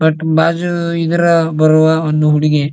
but ಬಾಜು ಇದ್ರ ಬರುವ ಒಂದು ಹುಡುಗಿ --